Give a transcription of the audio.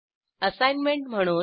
assignment म्हणून